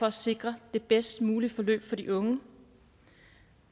at sikre det bedst mulige forløb for de unge